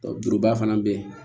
Juruba fana bɛ yen